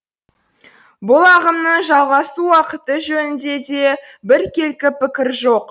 бұл ағымның жалғасу уақыты жөнінде де біркелкі пікір жоқ